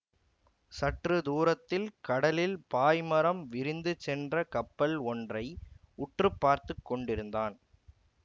சற்று தூரத்தில் கடலில் பாய்மரம் விரிந்துச் சென்ற கப்பல் ஒன்றை உற்று பார்த்துக்கொண்டிருந்தான்